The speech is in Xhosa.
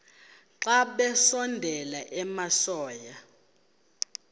xa besondela emasuie